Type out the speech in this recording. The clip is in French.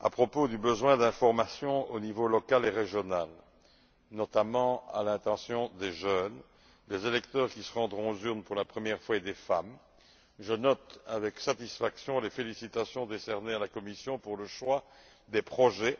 À propos du besoin d'information au niveau local et régional, notamment à l'intention des jeunes, des électeurs qui se rendront aux urnes pour la première fois, et des femmes, je note avec satisfaction les félicitations décernées à la Commission pour le choix des projets